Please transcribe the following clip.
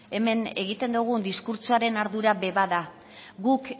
hemen egiten dugun diskurtsoaren ardura be bada guk